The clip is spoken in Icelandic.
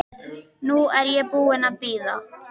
Nú er ég búin að bíða.